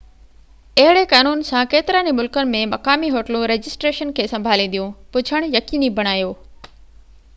اهڙي قانون سان ڪيترن ئي ملڪن ۾، مقامي هوٽلون رجسٽريشن کي سنڀالينديون پڇڻ يقيني بڻايو